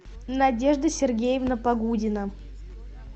надежда сергеевна погудина